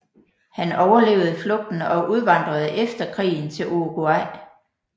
Han overlevede flugten og udvandrede efter krigen til Uruguay